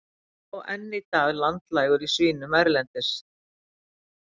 er sá enn í dag landlægur í svínum hérlendis